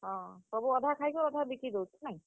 ହଁ, ସବୁ ଅଧା ଖାଇ କରି, ଅଧା ବିକି ଦେସନ୍ ନାଇଁ?